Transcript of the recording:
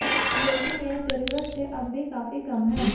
लेकिन यह जरूरत से अब भी काफी कम है